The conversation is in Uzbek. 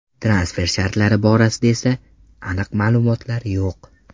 Transfer shartlari borasida esa aniq ma’lumotlar yo‘q.